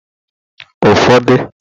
ụfọdụ